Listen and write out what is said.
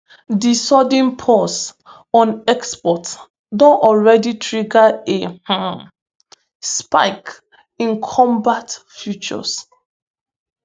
di sudden pause on export don already trigger a um spike in cobalt futures